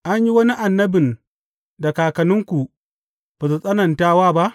An yi wani annabin da kakanninku ba su tsananta wa ba?